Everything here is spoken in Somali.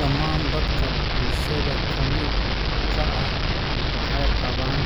Dhammaan dadka bulshada ka mid ka ah waxay qabaan